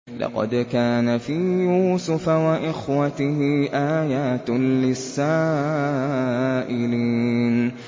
۞ لَّقَدْ كَانَ فِي يُوسُفَ وَإِخْوَتِهِ آيَاتٌ لِّلسَّائِلِينَ